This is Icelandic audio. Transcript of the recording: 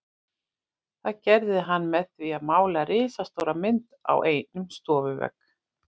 Það gerði hann með því að mála risastóra mynd á einn stofuvegginn.